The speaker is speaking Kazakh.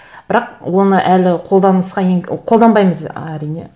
бірақ оны әлі қолданысқа қолданбаймыз әрине